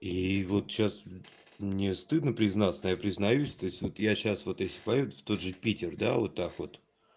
и вот сейчас мне стыдно признаться но я признаюсь то есть вот я сейчас вот если поеду в тот же питер да вот так вот